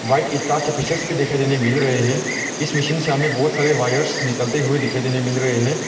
White ईटा के pieces भी दिखाई देने मिल रहे हैं इस मशीन से हमें बहुत सारे वायर्स निकलते हुए दिखाई देने मिल रहे हैं।